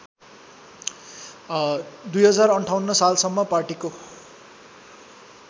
२०५८ सालसम्म पार्टीको